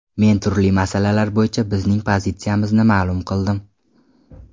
Men turli masalalar bo‘yicha bizning pozitsiyamizni ma’lum qildim.